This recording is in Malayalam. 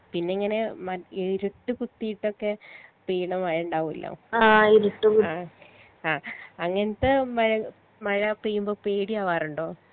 പിന്നെ എങ്ങനെ മ ഇരുട്ട് കുത്തീട്ടൊക്കെ പെയ്‌ണ മഴ ഇണ്ടാവൊലോ ആ ആ അങ്ങനത്തെ മഴ മഴ പെയ്യുമ്പോ പേടിയാവാറിണ്ടോ